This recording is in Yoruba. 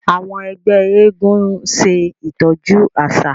àwọn ẹgbẹ éégún ń ṣe itọju aṣa.